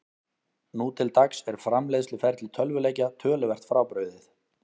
Nú til dags er framleiðsluferli tölvuleikja töluvert frábrugðið.